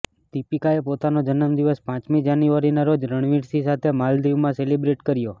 દીપિકાએ પોતાનો જન્મદિવસ પાંચમી જાન્યુઆરીના રોજ રણવીર સિંહ સાથે માલદીવમાં સેલિબ્રેટ કર્યો